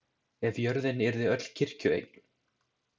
Ef jörðin yrði öll kirkjueign.